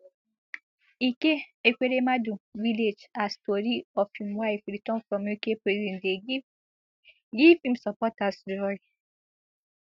ike ekweremadu village as tori of im wife return from uk prison dey give give im supporters joy